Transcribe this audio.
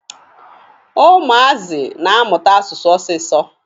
Ụmụazị na-amụta asụsụ ọsịsọ.